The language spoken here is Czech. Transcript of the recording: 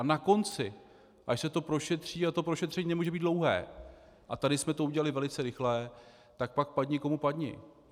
A na konci, až se to prošetří, a to prošetření nemůže být dlouhé, a tady jsme to udělali velice rychle, tak pak padni komu padni.